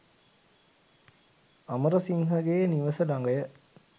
අමරසිංහ ගේ නිවස ළඟය.